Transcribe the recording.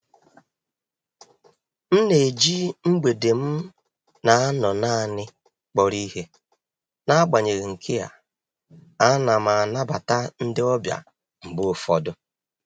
M na-eji mgbede m na-anọ naanị kpọrọ ihe, n'agbanyeghị nke a, ana m anabata ndị ọbịa mgbe ụfọdụ.